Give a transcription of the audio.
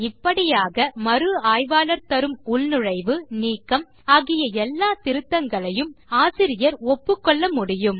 இப்படியாக மறு ஆய்வாளர் தரும் உள்நுழைவு நீக்கம் ஆகிய எல்ல திருத்தங்களையும் ஆசிரியர் ஒப்புக்கொள்ள முடியும்